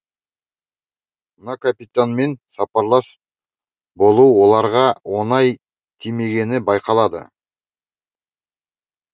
мына капитанмен сапарлас болу оларға оңай тимегені байқалады